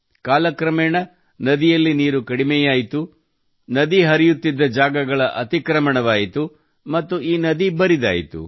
ಕಾಲ ಕ್ರಮೇಣ ನದಿಯಲ್ಲಿ ನೀರು ಕಡಿಮೆಯಾಯಿತು ನದಿ ಹರಿಯುತ್ತಿದ್ದ ಜಾಗಗಳ ಅತಿಕ್ರಮಣವಾಯಿತು ಮತ್ತು ಈ ನದಿ ಬರಿದಾಯಿತು